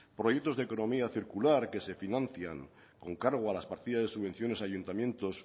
proyecto de economía circular que se financian con cargo a las partidas de subvenciones ayuntamientos